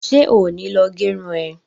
Ṣé ò ní lọ gẹrun ẹ?